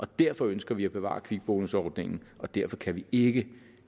derfor ønsker vi at bevare kvikbonusordningen og derfor kan vi ikke